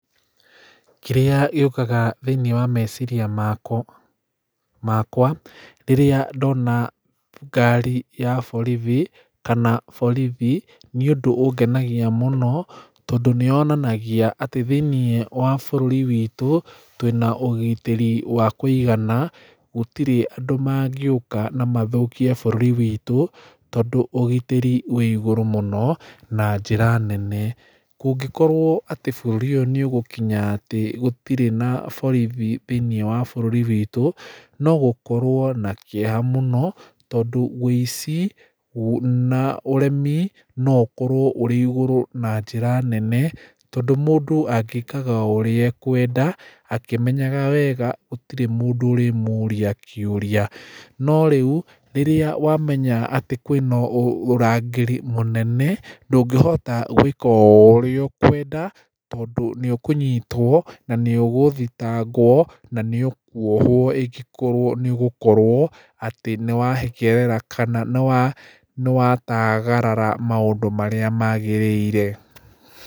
Kĩrĩa gĩũkaga thĩĩnĩe wa meciria makwa rĩrĩa ndona ngari ya borithi kana borithi nĩ ũndũ ũngenagia mũno tondũ nĩyonanagia atĩ thĩĩnĩe wa bũrũri twĩna ũgitĩri wa kũigana gũtirĩ andũ mangĩũka na mathũkĩe bũrũri witũ tondũ ũgitĩri wĩ igũrũ mũno na njĩra nene kũngĩkorwo atĩ bũrũri ũyũ nĩũgũkinya atĩ gũtirĩ na borithi thĩĩnĩe wa bũrũri witũ no gũkorwo na kĩeha mũno tondũ wĩici na ũremi no ũkorwo ũrĩ igũrũ na njĩra nene tondũ mũndũ angĩkaga ũrĩa ekwenda akĩmenyaga wega gũtirĩ mũndũ ũrĩmũria kĩũria no rĩu rĩrĩa wamenya atĩ kwĩna ũrangĩri mũnene ndũngĩhota gũĩka o ũrĩa ũkwenda tondũ nĩ ũkũnyitwo na nĩ ũgũthitangwo na nĩ ũkũohwo ingĩkorwo nĩũgũkorwo atĩ nĩwatagarara maũndũ marĩa magĩrĩire.